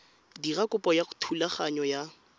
dira kopo ya thulaganyo ya